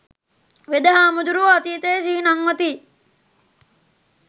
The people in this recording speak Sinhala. වෙද හාමුදුරුවෝ අතීතය සිහි නංවති